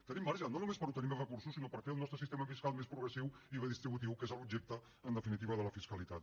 tenim marge no només per obtenir més recursos sinó per fer el nostre sistema fiscal més progressiu i redistributiu que és l’objecte en definitiva de la fiscalitat